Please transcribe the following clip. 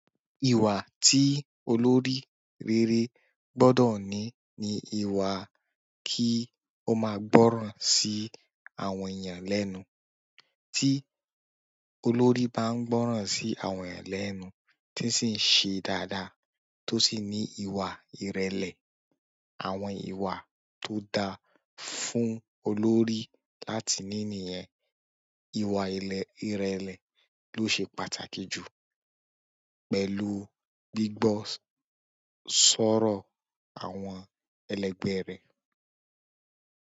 Ìwà tí olórí rere gbọ́dọ̀ ní ni ìwà kí ó máa gbọ́ràn sí àwọn èèyàn lẹ́nu. Tí olórí bá ń gbọ́ràn sí àwọn èeyàn lẹ́nu, tí sì ń ṣe dáadáa, tó sì ní ìwà ìrẹ̀lẹ̀, àwọn ìwà tó dáa fún olórí láti ní niyẹ̀n, ìwà ìrẹ̀lẹ̀ ló ṣe pàtàkì jù pẹ̀lú gbígbọ́ sọ́rọ̀ àwọn ẹlẹgbẹ́ rẹ̀.